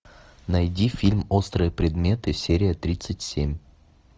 найди фильм острые предметы серия тридцать семь